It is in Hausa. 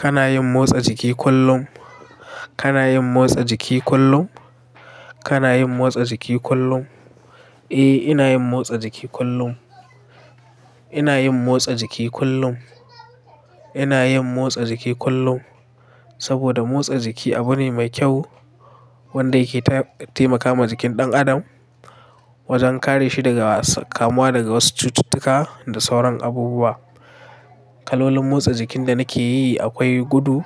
Kana yin motsa jiki kullum? Kana yin motsa jiki kullum? Kana yin motsa jiki kullum? Eh, ina yin motsa jiki kullum. Ina yin motsa jiki kullum. Ina yin motsa jiki kullum. Saboda motsa jiki abu ne mai kyau wanda yake taimakawa jikin ɗan adam wajen kare shi daga kamuwa daga wasu cututtuka da sauran abubuwa. Kalolin motsa jikin da nake yi akwai gudu,